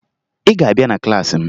Ị ga-abịa na klaasị m!